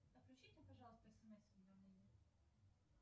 отключите пожалуйста смс уведомления